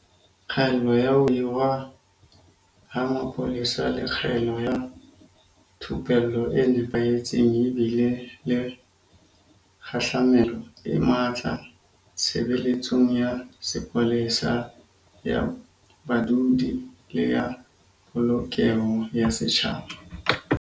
Kgaello ya ho hirwa ha mapolesa le kgaello ya thupello e nepahetseng di bile le kgahlamelo e matla tshebeletsong ya sepolesa ya badudi le ya Polokeho ya Setjhaba.